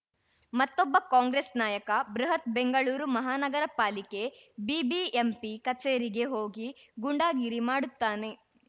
ಮತ್ತೊಬ್ಬ ಕಾಂಗ್ರೆಸ್‌ ನಾಯಕ ಬೃಹತ್‌ ಬೆಂಗಳೂರು ಮಹಾನಗರ ಪಾಲಿಕೆ ಬಿಬಿಎಂಪಿ ಕಚೇರಿಗೆ ಹೋಗಿ ಗೂಂಡಾಗಿರಿ ಮಾಡುತ್ತಾನೆ